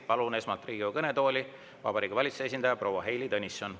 Palun esmalt Riigikogu kõnetooli Vabariigi Valitsuse esindaja proua Heili Tõnissoni.